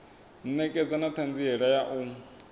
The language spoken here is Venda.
ṋekedza na ṱhanziela ya u